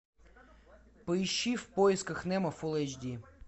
поищи в поисках немо фул эйч ди